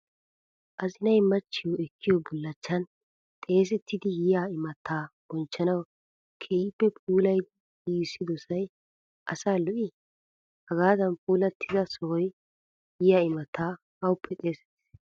Azinay machiyo ekkiyo bullachan xesettidi yiya imatta bonchanawu keehippe puulayidi giigissidosay asaa lo''ii? Hagaadan puulaattida sohaa yiyaa imattay awuppe xeesettidee?